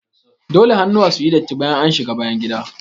Dole hannuwa suyi datti bayan an shiga bayangida.